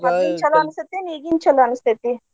ಮದ್ಲಿಂದ್ ಚೊಲೋ ಅನಸ್ತೇತಿ ಏನ ಈಗಿಂದ ಚೊಲೋ ಅನಸ್ತೇತಿ?